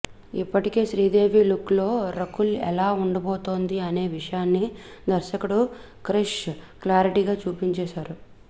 ఇప్పటికే శ్రీదేవి లుక్లో రకుల్ ఎలా ఉండబోతోంది అనే విషయాన్ని దర్శకుడు క్రిష్ క్లారిటీగా చూపించేశారు